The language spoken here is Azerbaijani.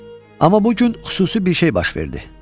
Amma bu gün xüsusi bir şey baş verdi.